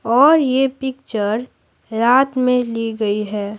और ये पिक्चर रात में ली गई है।